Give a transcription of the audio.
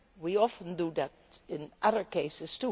We often do that in other cases.